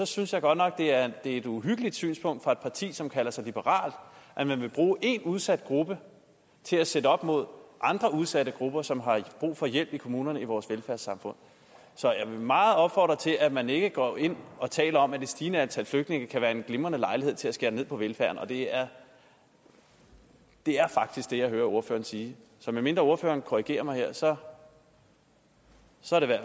synes jeg godt nok at det er et uhyggeligt synspunkt fra et parti som kalder sig liberalt at man vil bruge én udsat gruppe til at sætte op mod andre udsatte grupper som har brug for hjælp i kommunerne i vores velfærdssamfund så jeg vil meget opfordre til at man ikke går ind og taler om at det stigende antal flygtninge kan være en glimrende lejlighed til at skære ned på velfærden og det er er faktisk det jeg hører ordføreren sige så medmindre ordføreren her korrigerer mig så